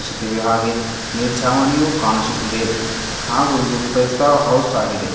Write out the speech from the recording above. ಸಿತಿವೆ ಹಾಗೆ ಮೆಲ್ಛಾವನಿಯು ಕಾಣಿಸುತಿದೆ ಹಾಗು ಇದು ಪೈ ಸ್ತಾರ ಹೌಸ್ ಆಗಿದೆ.